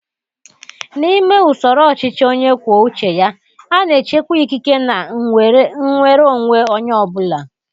N'ime usoro ọchịchị onye kwuo uche ya, a na-echekwa ikike na nnwere onwe onye ọ bụla